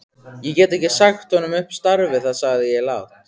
Ég get ekki sagt honum upp starfi sagði ég lágt.